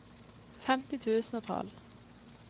femti tusen og tolv